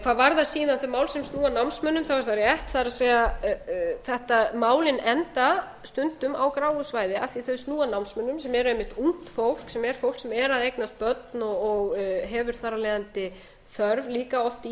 hvað varðar síðan þau mál sem snúa að námsmönnum er það rétt það er þetta málin enda stundum á gráu svæði af því þau snúa að námsmönnum sem eru einmitt ungt fólk sem er fólk sem er að eignast börn og hefur þar af leiðandi þörf líka oft í